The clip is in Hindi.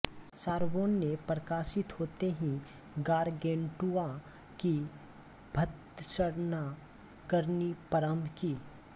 सारबोन ने प्रकाशित होते ही गारगेंटुआ की भर्त्सना करनी प्रारंभ की